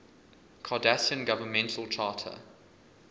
cardassian governmental charter